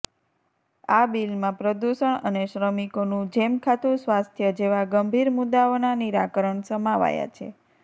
આ બીલમાં પ્રદૂષણ અને શ્રમિકોનું જેખમાતું સ્વાસ્થ્ય જેવા ગંભીર મુદ્દાઓના નિરાકરણ સમાવાયા છે